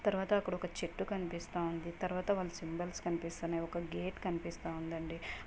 తర్వాత అక్కడ ఒక చెట్టు కనిపిస్తుంది. తర్వాత వాళ్ళ సిగ్నల్స్ కనిపిస్తున్నాయి. ఒక గేట్ కనిపిస్తా ఉండండి.